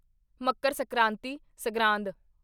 Makar Sankranti (Sangrand)